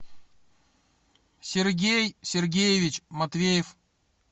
сергей сергеевич матвеев